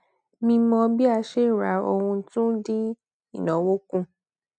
mímọ bí a ṣe ń ra ohun tún dín ináwó kù